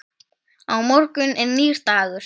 Á morgun er nýr dagur.